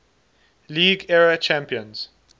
league era champions